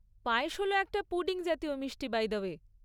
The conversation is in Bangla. পায়েস হল একটা পুডিং জাতীয় মিষ্টি বাই দা ওয়ে।